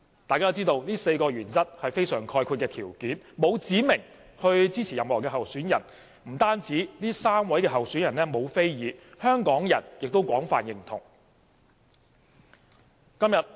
大家都知道這4項原則是非常概括的條件，沒有指明支持任何候選人，不單3位候選人沒有非議，香港人亦廣泛認同。